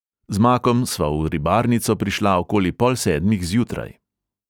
Z makom sva v ribarnico prišla okoli pol sedmih zjutraj.